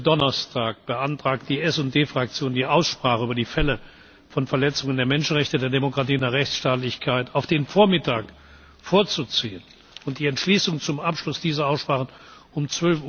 Donnerstag Die SD Fraktion beantragt, die Aussprache über die Fälle von Verletzungen der Menschenrechte, der Demokratie und der Rechtsstaatlichkeit auf den Vormittag vorzuziehen und die Entschließungen zum Abschluss dieser Aussprachen um